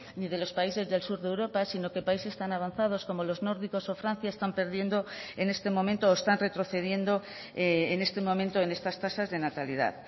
ni de los países del sur de europa sino que países tan avanzados como los nórdicos o francia están perdiendo en este momento o están retrocediendo en este momento en estas tasas de natalidad